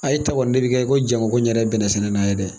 A y' ta fɔ n' terikɛ ko Jamako n yɛrɛ ye bɛnɛ sɛnɛna ye dɛ.